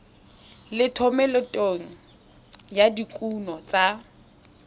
le thomeloteng ya dikuno tsa